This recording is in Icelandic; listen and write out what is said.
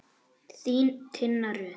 Þín, Tinna Rut.